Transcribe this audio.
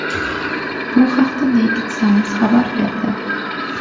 Bu haqda Naked Science xabar berdi .